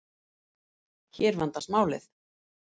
Hér vandast málið.